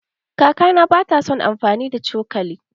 Kakana ba ta san amfani da cokali.